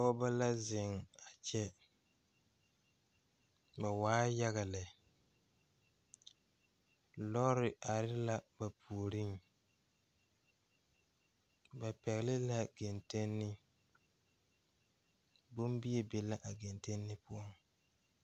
Pɔgeba la zeŋ a kyɛ ba waa yaga lɛ lɔɔre are la ba puoriŋ ba pɛgele la kentenni bombie be la a kentenni poɔ.